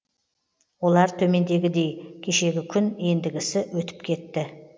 олар төмендегідей кешегі күн ендігісі өтіп кетті